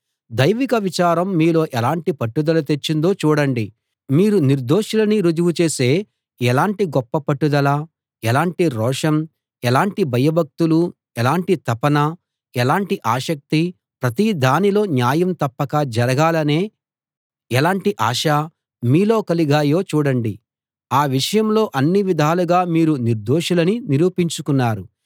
దైవిక విచారం మీలో ఎలాంటి పట్టుదల తెచ్చిందో చూడండి మీరు నిర్దోషులని రుజువు చేసే ఎలాంటి గొప్ప పట్టుదల ఎలాంటి రోషం ఎలాంటి భయభక్తులు ఎలాంటి తపన ఎలాంటి ఆసక్తి ప్రతి దానిలో న్యాయం తప్పక జరగాలనే ఎలాంటి ఆశ మీలో కలిగాయో చూడండి ఆ విషయంలో అన్ని విధాలుగా మీరు నిర్దోషులని నిరూపించుకున్నారు